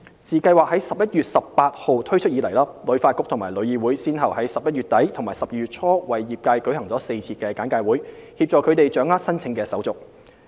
自計劃於11月18日推出以來，旅發局和旅議會先後於11月底至12月初為業界舉行了4次簡介會，協助他們掌握申請手續。